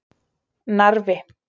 Narfi